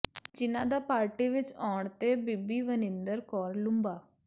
ਜਿਨ੍ਹਾਂ ਦਾ ਪਾਰਟੀ ਵਿੱਚ ਆਉਣ ਤੇ ਬੀਬੀ ਵਨਿੰਦਰ ਕੌਰ ਲੂੰਬਾ